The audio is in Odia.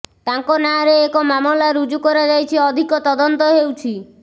ତାଙ୍କ ନାଁରେ ଏକ ମାମଲା ରୁଜୁ କରାଯାଇ ଅଧିକ ତଦନ୍ତ ହେଉଛି